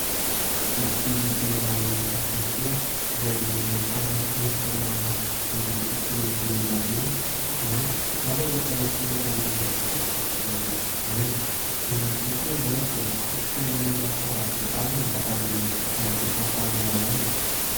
Boky iray hafakely izay ahitana fonosana miloko toy ny volondavenona, mainty ; ary ahitana soratra miloko fotsy sy mena. Ny boky moa izany dia fototra hiorenan'ny fanabeazana ary mampita fahalalana.